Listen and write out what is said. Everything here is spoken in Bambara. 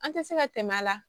An tɛ se ka tɛmɛ a la